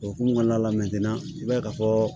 O hokumu kɔnɔna la i b'a ye ka fɔ